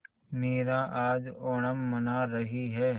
मीरा आज ओणम मना रही है